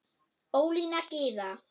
Ólína Gyða.